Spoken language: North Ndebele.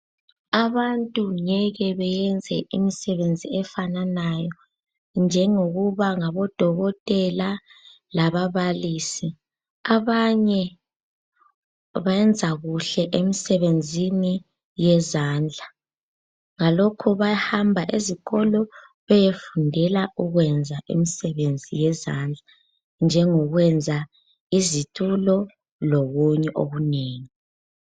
Abantu ngeke beyenze imisebenzi efananayo njengokuba ngodokotela lababalisi. Abanye bayenza kuhle emsebenzini yezandla ngalokho bayahamba ezikolo beyefundela ukwenza imisebenzi yezandla njengokwenza izitulo lokunye okunengi.